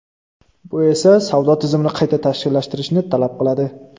Bu esa savdo tizimini qayta tashkillashtirishni talab qiladi.